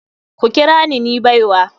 Ku kira ni baiwa.